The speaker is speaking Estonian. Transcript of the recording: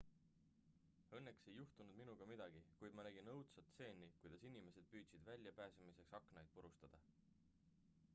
"""õnneks ei juhtunud minuga midagi kuid ma nägin õudsat stseeni kuidas inimesid püüdsid väljapääsemiseks aknaid purustada.